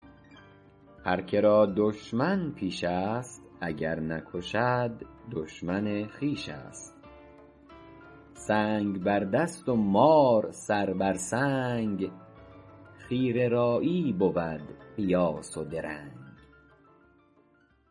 هر که را دشمن پیش است اگر نکشد دشمن خویش است سنگ بر دست و مار سر بر سنگ خیره رایی بود قیاس و درنگ